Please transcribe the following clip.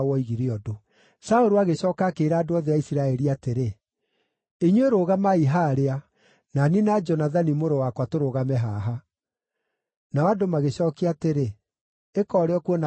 Saũlũ agĩcooka akĩĩra andũ othe a Isiraeli atĩrĩ, “Inyuĩ rũgamai haarĩa; na niĩ na Jonathani mũrũ wakwa tũrũgame haha.” Nao andũ magĩcookia atĩrĩ, “Ĩka ũrĩa ũkuona kwagĩrĩire.”